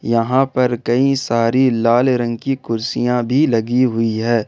यहां पर कई सारी लाल रंग की कुर्सियां भी लगी हुई है।